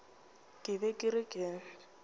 ke be ke re ke